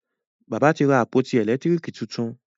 bàbá tí ra àpótí elekitiriki títún.